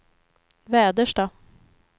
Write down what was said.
Väderstad